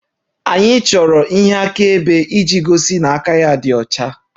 Anyị chọrọ ihe akaebe iji gosi na aka ya dị ọcha